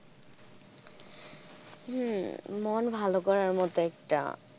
হম মন ভালো করার মতো একটা,